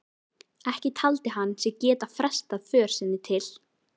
Ekki taldi hann sig geta frestað för sinni til